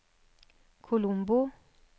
Colombo